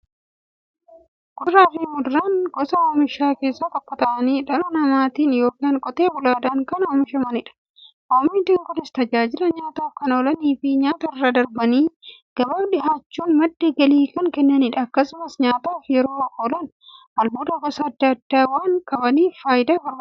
Kuduraafi muduraan gosa oomishaa keessaa tokko ta'anii, dhala namaatin yookiin Qotee bulaadhan kan oomishamaniidha. Oomishni Kunis, tajaajila nyaataf kan oolaniifi nyaatarra darbanii gabaaf dhiyaachuun madda galii kan kennaniidha. Akkasumas nyaataf yeroo oolan, albuuda gosa adda addaa waan qabaniif, fayyaaf barbaachisoodha.